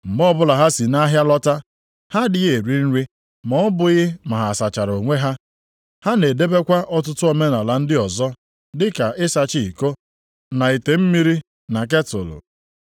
Mgbe ọbụla ha si nʼahịa lọta, ha adịghị eri nri ma ọ bụghị ma ha sachara onwe ha. Ha na-edebekwa ọtụtụ omenaala ndị ọzọ dị ka ịsacha iko, na ite mmiri na ketụlụ. + 7:4 Nʼime ụfọdụ akwụkwọ mgbe ochie ị ga-ahụta ma ihe ndina.